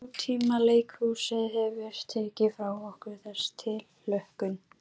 Svo lifandi var pólitík, en ekki síst héraðapólitík.